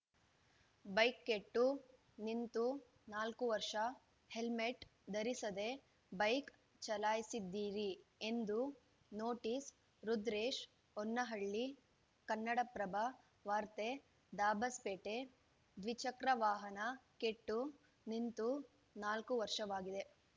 bike ಕೆಟ್ಟು ನಿಂತು ನಾಲ್ಕು ವರ್ಷ ಹೆಲ್ಮೆಟ್‌ ಧರಿಸದೇ ಬೈಕ್‌ ಚಲಾಯಿಸಿದ್ದೀರಿ ಎಂದು ನೋಟಿಸ್‌ ರುದ್ರೇಶ್‌ ಹೊನ್ನೇನಹಳ್ಳಿ ಕನ್ನಡಪ್ರಭ ವಾರ್ತೆ ದಾಬಸ್‌ಪೇಟೆ ದ್ವಿಚಕ್ರ ವಾಹನ ಕೆಟ್ಟು ನಿಂತು ನಾಲ್ಕು ವರ್ಷವಾಗಿದೆ